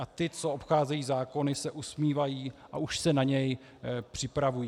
A ti, co obcházejí zákony, se usmívají a už se na něj připravují.